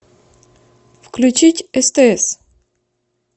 включить стс